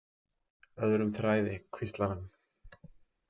Öðrum þræði, hvíslar hann.